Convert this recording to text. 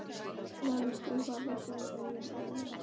Lalli trúði varla sínum eigin augum.